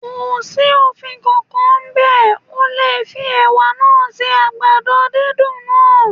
Kò sí òfin kan kan ń bẹ̀, o lè fi Ẹ̀wà náà se àgbàdo dúndùn náà.